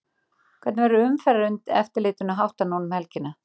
Hvernig verður umferðareftirlitinu háttað nú um helgina?